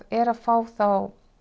er að fá þá